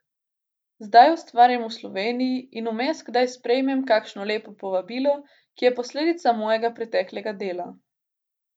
Zdaj ustvarjam v Sloveniji in vmes kdaj sprejmem kakšno lepo povabilo, ki je posledica mojega preteklega dela.